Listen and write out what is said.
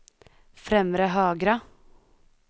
främre högra